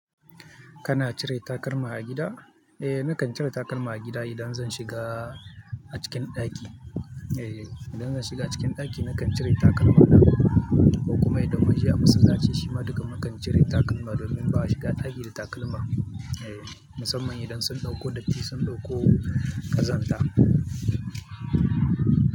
Kana cire takalma a gida? Eh, nakan cire takalma a gida idan zan shiga a cikin ɗaki. Eh, idan zan shiga cikin ɗaki nakan cire takalma. Ko kuma idan mun je a masallaci, shima duka mukan cire takalma domin ba a shiga ɗaki da takalma. Eh, musamman idan sun ɗauko datti, sun ɗauko kazanta.